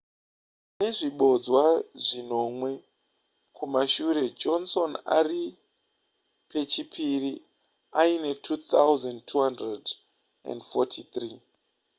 nezvibodzwa zvinomwe kumashure johnson ari pechipiri aine 2,243